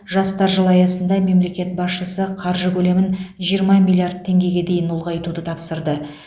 жастар жылы аясында мемлекет басшысы қаржы көлемін жиырма миллиард теңгеге дейін ұлғайтуды тапсырды